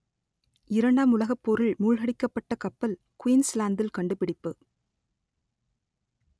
இரண்டாம் உலகப் போரில் மூழ்கடிக்கப்பட்ட கப்பல் குயின்ஸ்லாந்தில் கண்டுபிடிப்பு